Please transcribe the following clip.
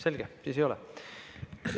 Selge, siis ei ole.